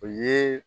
O ye